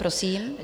Prosím.